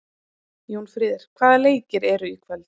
Jónfríður, hvaða leikir eru í kvöld?